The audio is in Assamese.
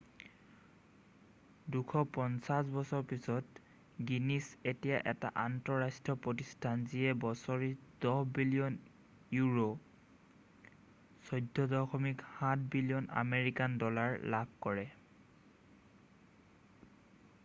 ২৫০ বছৰ পিছত গিনিছ এতিয়া এটা আন্তঃৰাষ্ট্ৰীয় প্ৰতিষ্ঠান যিয়ে বছৰি ১০ বিলিয়ন ইউৰো $১৪.৭ বিলিয়ন আমেৰিকান ডলাৰ লাভ কৰে।